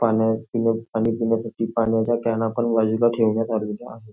पाणी पिण्यासाठी पाण्याचे कॅन इथे बाजूला ठेवण्यात आलेले आहे.